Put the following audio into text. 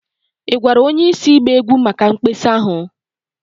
Ị gwara onye isi ịgba egwu maka mkpesa ahụ?